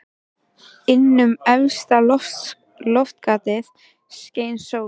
Inn um efsta loftgatið skein sólin.